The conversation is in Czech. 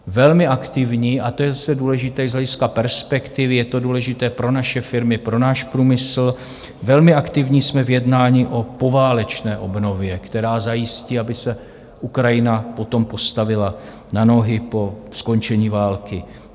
Velmi aktivní - a to je zase důležité i z hlediska perspektivy, je to důležité pro naše firmy, pro náš průmysl - velmi aktivní jsme v jednání o poválečné obnově, která zajistí, aby se Ukrajina potom postavila na nohy po skončení války.